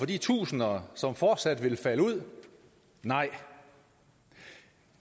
de tusinder som fortsat vil falde ud nej